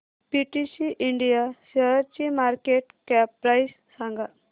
PTC India शेअरची market cap price सांगा